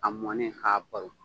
A mɔnen ka baron